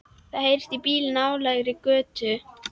Það heyrist í bíl í nálægri götu.